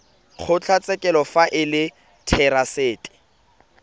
kgotlatshekelo fa e le therasete